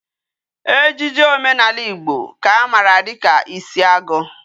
Ejiji omenala Igbo ka amara dika isiagu